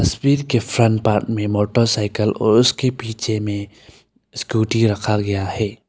इस पेज के front part में मोटरसाइकिल और उसके पीछे में स्कूटी रखा गया है।